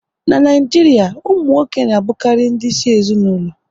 N'Naijiria, ụmụ nwoke na abukari ndị isi ezinaụlọ